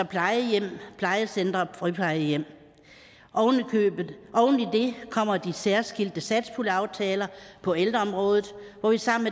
plejehjem plejecentre og friplejehjem oven i det kommer de særskilte satspuljeaftaler på ældreområdet hvor vi sammen